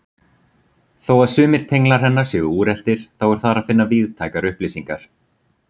Þó að sumir tenglar hennar séu úreltir þá er þar að finna víðtækar upplýsingar.